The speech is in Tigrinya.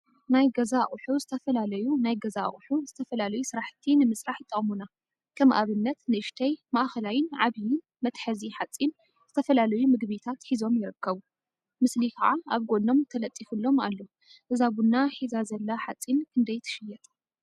ናይ ገዛ አቁሑ ዝተፈላለዩ ናይ ገዛ አቁሑ ንዝተፈላለዩ ስራሕቲ ንምስራሕ ይጠቅሙና፡፡ ከም አብነት ንእሽተይ፣ ማእከላይን ዓብይን መትሐዚ ሓፂን ዝተፈላለዩ ምግቢታት ሒዞም ይርከቡ፡፡ ምስእሊ ከዓ አብ ጎኖም ተለጢፈሎም እዩ፡፡ እዛ ቡና ሒዛ ዘላ ሓፂን ክንደይ ትሽየጥ?